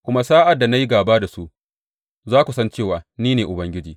Kuma sa’ad da na yi gāba da su, za ku san cewa ni ne Ubangiji.